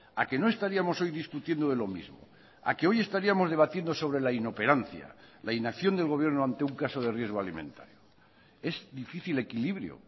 a que no estaríamos hoy discutiendo de lo mismo a que hoy estaríamos debatiendo sobre la inoperancia la inacción del gobierno ante un caso de riesgo alimentario es difícil equilibrio